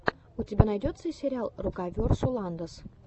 у тебя найдется сериал рокаверсусалдос